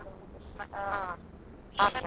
ಹೌದಾ ಹಾ ಹಾ ಹಾ.